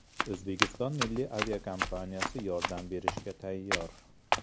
O‘zbekiston milliy aviakompaniyasi yordam berishga tayyor.